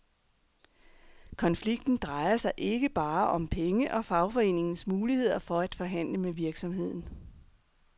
Konflikten drejer sig ikke bare om penge og fagforeningens muligheder for at forhandle med virksomheden.